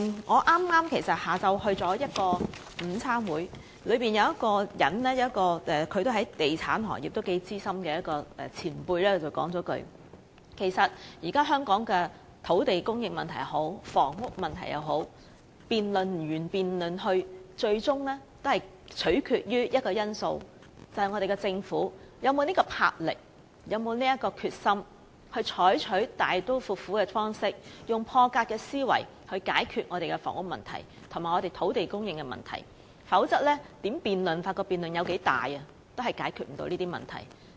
我剛在下午出席了一個午餐會，其中有位在地產行業頗資深的前輩說，對於現時香港的土地供應或房屋問題，不管如何辯論，最終也取決於一個因素，就是我們的政府究竟有沒有這種魄力和決心，以大刀闊斧的方式和破格思維解決房屋及土地供應問題，否則不管如何辯論或辯論有多大，亦無法解決這些問題。